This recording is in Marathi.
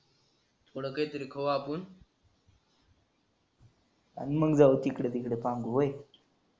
थोड काही तरी खाऊ आपण अन मंग जाऊ इकड तिकड पांगु होय.